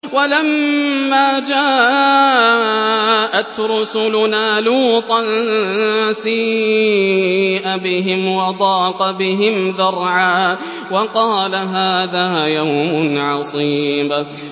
وَلَمَّا جَاءَتْ رُسُلُنَا لُوطًا سِيءَ بِهِمْ وَضَاقَ بِهِمْ ذَرْعًا وَقَالَ هَٰذَا يَوْمٌ عَصِيبٌ